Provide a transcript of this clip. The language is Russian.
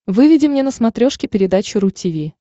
выведи мне на смотрешке передачу ру ти ви